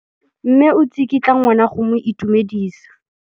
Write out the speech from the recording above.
Mme o tsikitla ngwana go mo itumedisa.